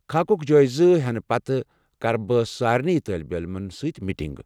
خاكُك جٲزٕ ہینہٕ پتہٕ كر بہٕ سارِنٕے طٲلب علمن سۭتۍ میٹِنگ ۔